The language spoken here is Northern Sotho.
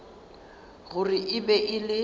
gore e be e le